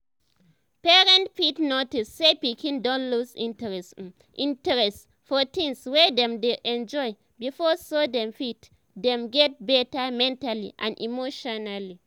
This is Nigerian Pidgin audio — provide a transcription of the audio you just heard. parents fit notice say pikin don lose interest um interest um for things wey dem dey enjoy before so dem fit help dem get better mentally and emotionally